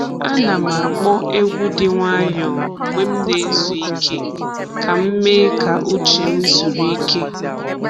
A nà'm ákpọ́ egwu dị nwayọ mgbe m na-ezu ike ka m mee ka uche m zuru ike.